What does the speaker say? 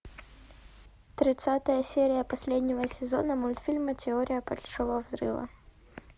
тридцатая серия последнего сезона мультфильма теория большого взрыва